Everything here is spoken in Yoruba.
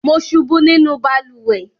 Mo ṣubú nínú balùwẹ́